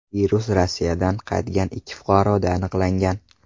Virus Rossiyadan qaytgan ikki fuqaroda aniqlangan.